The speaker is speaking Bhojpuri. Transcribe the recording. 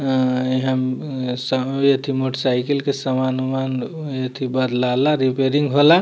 एन्न इहाँ सब एथी मोटर साइकिल के सामान-उमान एथी बदलाला रिपेयरिंग होला।